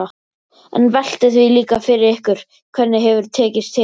En veltið því líka fyrir ykkur hvernig hefur tekist til?